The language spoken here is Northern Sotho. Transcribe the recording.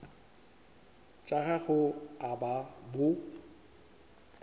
tša gago a ba bo